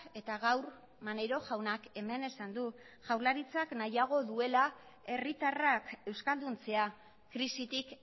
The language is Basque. eta gaur maneiro jaunak hemen esan du jaurlaritzak nahiago duela herritarrak euskalduntzea krisitik